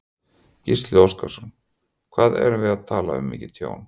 Gísli Óskarsson: Hvað erum við að tala um mikið tjón?